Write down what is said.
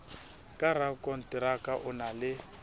ka rakonteraka o na le